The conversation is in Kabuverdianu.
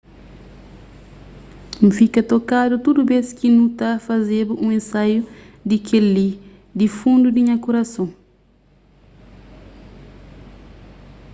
n fika tokadu tudu bês ki nu ta fazeba un ensaiu di kel-li di fundu di nha kurason